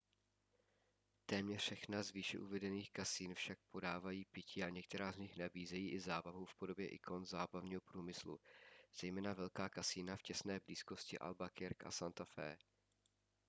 téměř všechna z výše uvedených kasín však podávají pití a některá z nich nabízejí i zábavu v podobě ikon zábavního průmyslu zejména velká kasína v těsné blízkosti albuquerque a santa fe